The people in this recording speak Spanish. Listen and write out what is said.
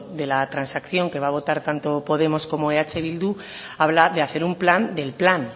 de la transacción que va a votar tanto podemos como eh bildu habla de hacer un plan del plan